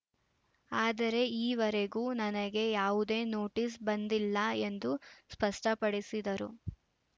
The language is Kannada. ಆದರೆ ಈವರೆಗೂ ನನಗೆ ಯಾವುದೇ ನೋಟಿಸ್‌ ಬಂದಿಲ್ಲ ಎಂದು ಸ್ಪಷ್ಟಪಡಿಸಿದರು